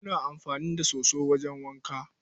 Muna amfani da soso wajen wanka.